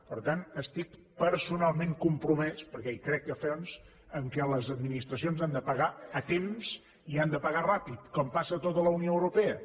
per tant estic personalment compromès perquè hi crec a fons en el fet que les administracions han de pagar a temps i han de pagar ràpid com passa a tota la unió europea